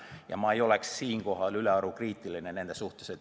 Ja ma ei oleks siinkohal ülearu kriitiline nende suhtes.